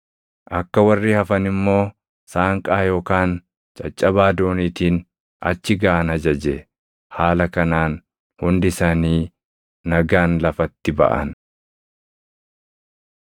Akka warri hafan immoo saanqaa yookaan caccabaa dooniitiin achi gaʼan ajaje; haala kanaan hundi isaanii nagaan lafatti baʼan.